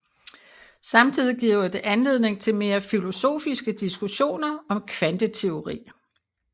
Samtidig giver det anledning til mere filosofiske diskussioner om kvanteteori